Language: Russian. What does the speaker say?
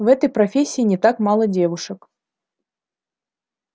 в этой профессии не так мало девушек